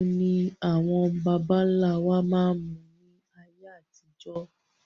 Ẹmu ni àwọn baba ńlá wa máa ń mu ni ayé àtijọ́